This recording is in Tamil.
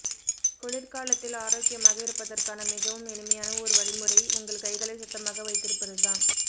குளிர்காலத்தில் ஆரோக்கியமாக இருப்பதற்கான மிகவும் எளிமையான ஒரு வழிமுறை உங்கள் கைகளை சுத்தமாக வைத்திருப்பதுதான்